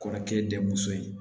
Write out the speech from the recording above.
Kɔrɔkɛ denmuso ye